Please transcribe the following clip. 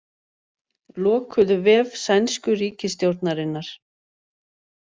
Lokuðu vef sænsku ríkisstjórnarinnar